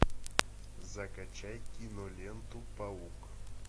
закачай киноленту паук